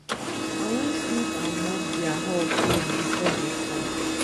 i wan sweep and mop their hall clean before dey come